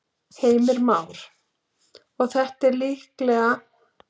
Heimir Már: Og þetta er líka viðkvæmur staður í borginni?